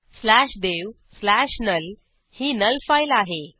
slash dev slash null ही null file आहे